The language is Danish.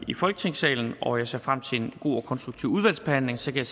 i folketingssalen og jeg ser frem til en god og konstruktiv udvalgsbehandling så kan